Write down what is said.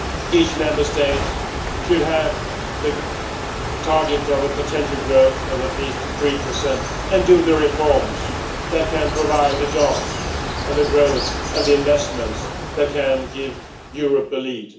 Each Member State should have the target of a potential growth of at least three percent and make the reforms that can provide the jobs, the growth and the investment that can give Europe a lead.